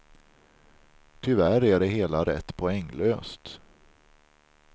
Tyvärr är det hela rätt poänglöst.